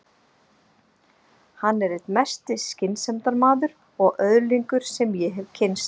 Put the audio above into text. Hann er einn mesti skynsemdarmaður og öðlingur sem ég hef kynnst.